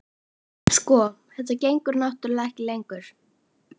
Sko. þetta gengur náttúrlega ekki lengur.